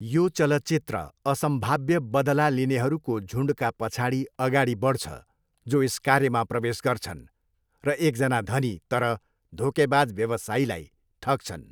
यो चलचित्र असम्भाव्य बदला लिनेहरूको झुन्डका पछाडि अगाडि बढ्छ जो यस कार्यमा प्रवेश गर्छन्, र एकजना धनी तर धोकेबाज व्यवसायीलाई ठग्छन्।